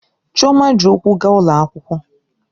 Chioma ji ụkwụ gaa ụlọ akwụkwọ